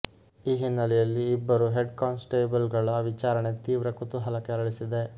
ಈ ಹಿನ್ನಲೆಯಲ್ಲಿ ಇಬ್ಬರು ಹೆಡ್ ಕಾನ್ಸಟೇಬಲಗಳ ವಿಚಾರಣೆ ತೀವ್ರ ಕುತೂಹಲ ಕೆರಳಿಸಿದೆ